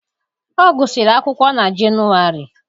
Ọ gụsịrị akwụkwọ na Jenụwarị.